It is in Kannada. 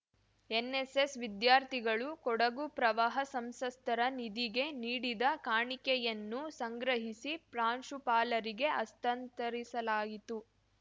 ಎನ್‌ಎಸ್‌ಎಸ್‌ ವಿದ್ಯಾರ್ಥಿಗಳು ಕೊಡಗು ಪ್ರವಾಹ ಸಂಸ್ಥರ ನಿಧಿಗೆ ನೀಡಿದ ಕಾಣಿಕೆಯನ್ನು ಸಂಗ್ರಹಿಸಿ ಪ್ರಾಂಶುಪಾಲರಿಗೆ ಹಸ್ತಾಂತರಿಸಲಾಯಿತು